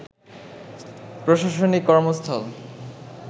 প্রশাসনিক কর্মস্থল